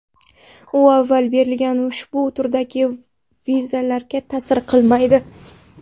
U avval berilgan ushbu turdagi vizalarga ta’sir qilmaydi.